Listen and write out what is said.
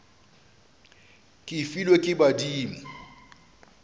ke e filwe ke badimo